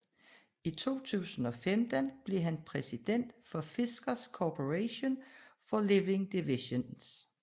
I 2015 blev han præsident hos Fiskars Corporation for Living Divisionen